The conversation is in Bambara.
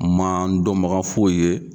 N man n dɔnbaga foyi ye.